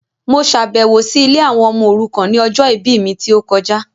Mo ṣàbẹ̀wọ̀ si ilé àwọn ọmọ òrukàn ni ọjọ ìbí mi ti o kojá